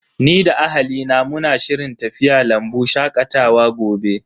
Ni da ahalina muna shirin tafiya lambu shakatawa gobe.